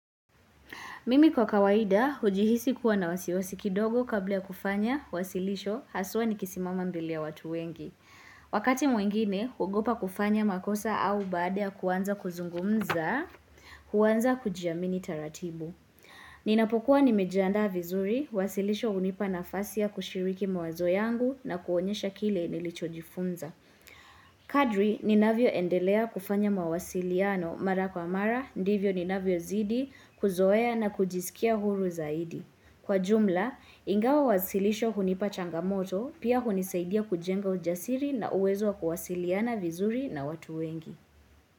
Mimi kwa kawaida hujihisi kuwa na wasiwasi kidogo kabla ya kufanya wasilisho, hasa nikisimama mbele ya watu wengi. Wakati mwingine huogopa kufanya makosa au baada ya kuanza kuzungumza, huanza kujiamini taratibu. Ninapokuwa nimejiandaa vizuri, wasilisho hunipa nafasi ya kushiriki mawazo yangu na kuonyesha kile nilichojifunza. Kadiri ninavyoendelea kufanya mawasiliano mara kwa mara ndivyo ninavyozidi kuzoea na kujisikia huru zaidi. Kwa jumla, ingawa wasilisho hunipa changamoto, pia hunisaidia kujenga ujasiri na uwezo wa kuwasiliana vizuri na watu wengi.